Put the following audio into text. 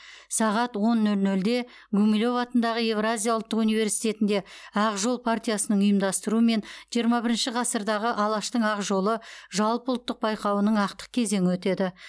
сағат он нөл нөлде гумилев атындағы еуразия ұлттық университетінде ақ жол партиясының ұйымдастыруымен жиырма бірінші ғасырдағы алаштың ақ жолы жалпыұлттық байқауының ақтық кезеңі өтеді